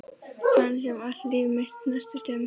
Hans sem allt líf mitt snerist um.